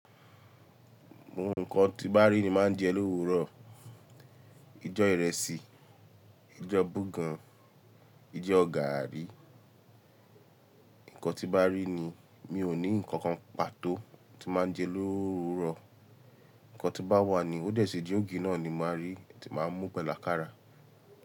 Gbogbo ǹkan tí bá rí ní máa ń jẹ lówurọ̀. Ijọ́ ìrẹsì, ijọ́ bogàn, ijọ́ gààrí, ǹkan tí bá rí ni. Mi ò ní ǹkankan pàtó tí máa ń jẹ lóru rọ̀. Ǹkan tí bá wà ni, ó dẹ̀ ṣí jẹ́ ògì náà ni màá rí tí màá mú pẹ̀lú ákàrà.